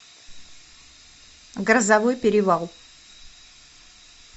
грозовой перевал